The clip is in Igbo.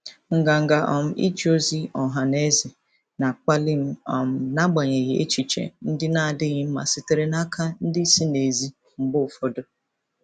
Nganga um ije ozi ọha na eze na-akpali m um n'agbanyeghị echiche ndị na-adịghị mma sitere n'aka ndị si n'èzí mgbe ụfọdụ.